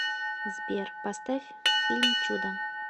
сбер поставь фильм чудо